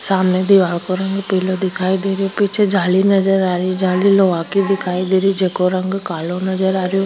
सामने दिवार का रंग पीला दिखाई देर पीछे जाली नजर आरी जाली लोहा की दिखाई देरी छे उका रंग कालो नजर आ रो।